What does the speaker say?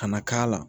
Ka na k'a la